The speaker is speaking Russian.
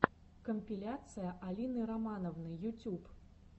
компиляция алины романовны ютюб